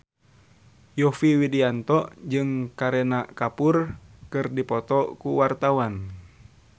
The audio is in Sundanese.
Yovie Widianto jeung Kareena Kapoor keur dipoto ku wartawan